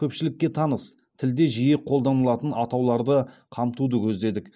көпшілікке таныс тілде жиі қолданылатын атауларды қамтуды көздедік